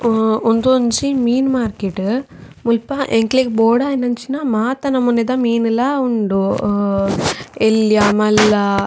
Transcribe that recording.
ಹಾ ಉಂದೊಂಜಿ ಮೀನ್ ಮಾರ್ಕೆಟ್ ಮುಲ್ಪ ಎಂಕ್ಲೆಗ್ ಬೋಡಾಯಿನಂಚಿನ ಮಾತ ನಮುನೆ ದ ಮೀನುಲ ಉಂಡು ಅ ಎಲ್ಲ್ಯ ಮಲ್ಲ--